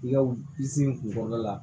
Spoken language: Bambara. I ka i sen kun kɔrɔ la